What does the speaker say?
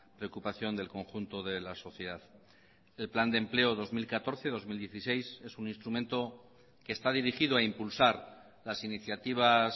preocupación del conjunto de la sociedad el plan de empleo dos mil catorce dos mil dieciséis es un instrumento que está dirigido a impulsar las iniciativas